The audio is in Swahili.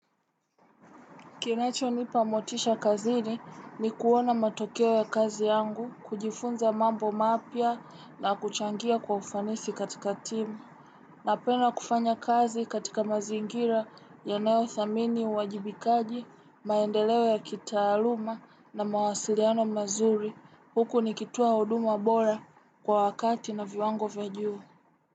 Kinacho nipa motisha kazini ni kuona matokeo ya kazi yangu, kujifunza mambo mapya na kuchangia kwa ufanisi katika timu. Napenda kufanya kazi katika mazingira yanayo thamini uwajibikaji, maendeleo ya kitaaluma na mawasiliano mazuri. Huku nikitoa huduma bora kwa wakati na viwango vya juu.